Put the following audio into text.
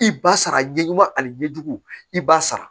I ba sara ɲɛmaa ani ɲɛjugu i b'a sara